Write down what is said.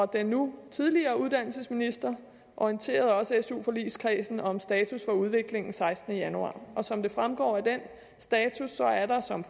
den nu tidligere uddannelsesminister orienterede også su forligskredsen om status for udviklingen den sekstende januar som det fremgår af den status er der som